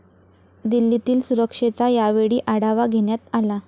दिल्लीतील सुरक्षेचा यावेळी आढावा घेण्यात आला.